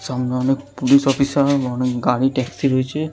সামনে অনেক police officer -এর অনেকগাড়ি ট্যাক্সি রয়েছে ।